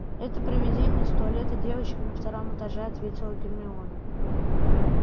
это привидение из туалета девочек на втором этаже ответила гермиона